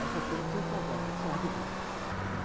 Essa cena eu não preciso contar, só rapidinho.